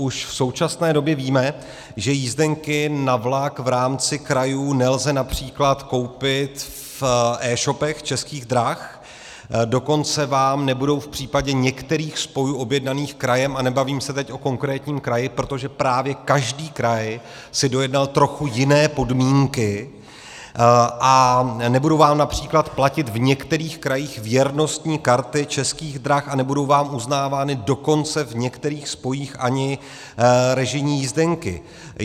Už v současné době víme, že jízdenky na vlak v rámci krajů nelze například koupit v e-shopech Českých drah, dokonce vám nebudou v případě některých spojů objednaných krajem - a nebavím se teď o konkrétním kraji, protože právě každý kraj si dojednal trochu jiné podmínky - nebudou vám například platit v některých krajích věrnostní karty Českých drah a nebudou vám uznávány dokonce v některých spojích ani režijní jízdenky.